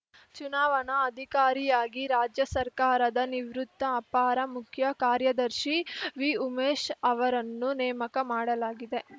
ಚುನಾವಣಾ ಅಧಿಕಾರಿಯಾಗಿ ರಾಜ್ಯ ಸರ್ಕಾರದ ನಿವೃತ್ತ ಅಪಾರ ಮುಖ್ಯ ಕಾರ್ಯದರ್ಶಿ ವಿ ಉಮೇಶ್‌ ಅವರನ್ನು ನೇಮಕ ಮಾಡಲಾಗಿದೆ